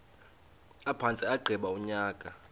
aphantse agqiba unyaka